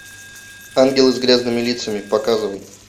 ангелы с грязными лицами показывай